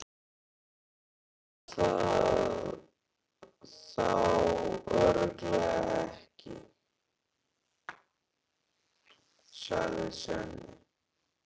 Hún veit það þá örugglega ekki, sagði Svenni.